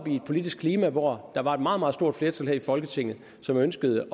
i et politisk klima hvor der var et meget meget stort flertal her i folketinget som ønskede